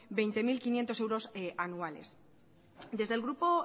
veinte mil quinientos euros anuales desde el grupo